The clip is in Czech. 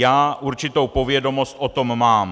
Já určitou povědomost o tom mám.